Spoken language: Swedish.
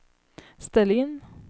ställ in